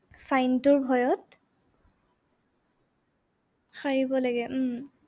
sign টোৰ ভয়ত। হাৰিব লাগে উম